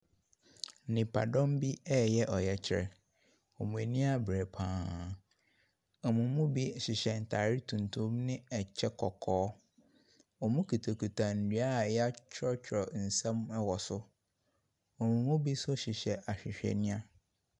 Nnipadɔm bi ɛreyɛ ɔyɛkyerɛ, wɔn ani abere pa ara. Wɔn mu bi ɛhyɛ ataare tuntum ne ɛkyɛ kɔkɔɔ. Wɔkitakita nnua a yɛatwerɛtwerɛ nsɛm ɛwɔ so. Wɔn mu nso hyehyɛ ahwehwɛniwa.